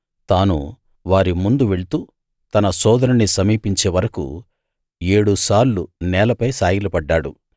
తాను వారి ముందు వెళ్తూ తన సోదరుణ్ణి సమీపించే వరకూ ఏడు సార్లు నేలపై సాగిలపడ్డాడు